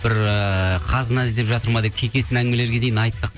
бір ыыы қазына іздеп жатыр ма деп кейкесін әңгімелерге дейін айттық